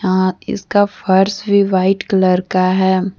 हां इसका फर्श भी वाइट कलर का है।